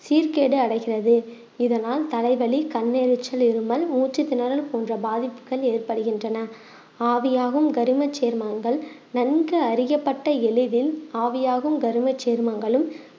சீர்கேடு அடைகிறது இதனால் தலைவலி, கண் எரிச்சல், இருமல், மூச்சு திணறல் போன்ற பாதிப்புகள் ஏற்படுகின்றன ஆவியாகும் கருமச் சேர்மங்கள் நன்கு அறியப்பட்ட எளிதில் ஆவியாகும் கருமச் சேர்மங்களும்